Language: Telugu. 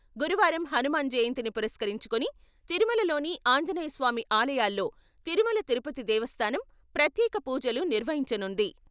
గురువారం హనుమాన్ జయంతిని పురస్కరించుకుని తిరుమలలోని ఆంజనేయ స్వామి ఆలయాల్లో తిరుమల తిరుపతి దేవస్థానం ప్రత్యేక పూజలు నిర్వహించనుంది.